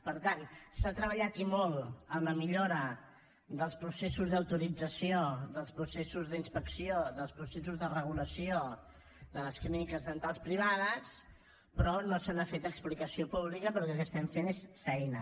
per tant s’ha treballat i molt en la millora dels processos d’autorització dels processos d’inspecció dels processos de regulació de les clíniques dentals privades però no se n’ha fet explicació pública perquè el que fem és feina